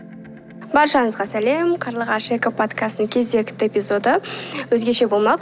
баршаңызға сәлем қарлығаш эко подкастының кезекті эпизоды өзгеше болмақ